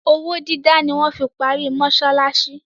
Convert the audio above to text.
Owó dídá ni wọ́n fi parí mọsálásí.